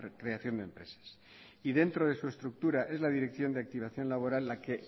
creación de empresas y dentro de su estructura es la dirección de activación laboral la que